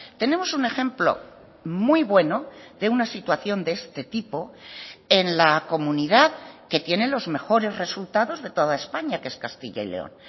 tenemos un ejemplo muy bueno de una situación de este tipo en la comunidad que tiene los mejores resultados de toda españa que es castilla y león